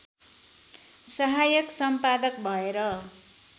सहायक सम्पादक भएर